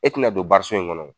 E ti na don so in ŋɔnɔ